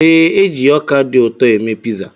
Ee, e ji ọkà dị ụtọ eme piza.